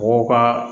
Mɔgɔw ka